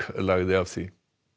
lagði af því